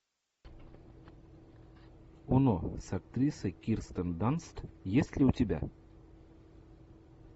оно с актрисой кирстен данст есть ли у тебя